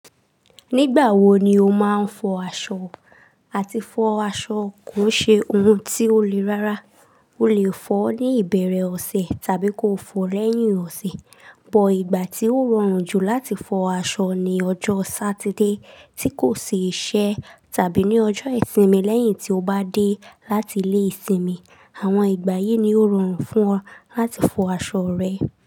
Nígbà wo ni o máa ń fọ aṣọ? Àti fọ aṣọ kò ṣe ohun tí ó lè rárá. O lè fọ ní ìbẹ̀rẹ̀ ọ̀sẹ̀ tàbí kò fọ lẹ́yìn ọ̀sẹ̀. Ọ̀pọ̀ ìgbà tí ó rọrùn jù láti fọ aṣọ ni ọjọ́ Sátidé tí kò sì iṣẹ tàbí ní ọjọ́ ìsinmi lẹ́yìn tí o bá dé láti ilé ìsinmi. Àwọn ìgbà yìí ni ó rọrùn fún ọ láti fọ aṣọ rẹ.